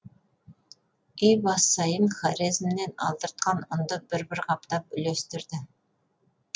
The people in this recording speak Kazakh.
үй бас сайын хорезмнен алдыртқан ұнды бір бір қаптан үлестірді